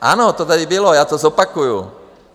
Ano, to tady bylo, já to zopakuju.